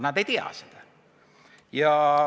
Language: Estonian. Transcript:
Aga teised ei tea seda.